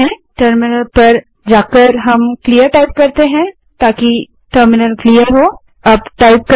terminal पर जाएँ terminal को क्लियर करने के लिए क्लीयर टाइप करें